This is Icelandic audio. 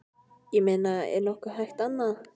Ég meina er nokkuð hægt annað?